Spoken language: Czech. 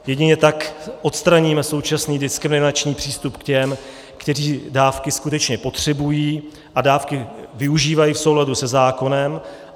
Jedině tak odstraníme současný diskriminační přístup k těm, kteří dávky skutečně potřebují a dávky využívají v souladu se zákonem.